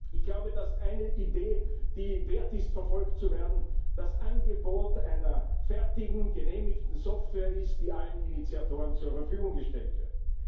Ich glaube, dass eine Idee, die es wert ist, verfolgt zu werden, das Angebot einer fertigen, genehmigten Software ist, die allen Initiatoren zur Verfügung gestellt wird.